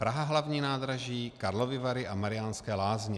Praha hlavní nádraží, Karlovy Vary a Mariánské Lázně.